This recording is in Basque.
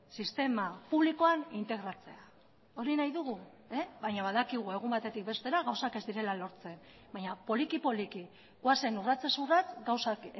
sistema publikoan integratzea hori nahi dugu baina badakigu egun batetik bestera gauzak ez direla lortzen baina poliki poliki goazen urratsez urrats gauzak